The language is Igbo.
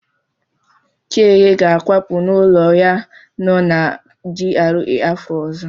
Chiege ga-akwapụ n'ụlọ ya nọ na GRA afọ ọzọ.